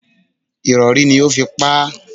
Ìrọ̀rí ni ó fi pa á.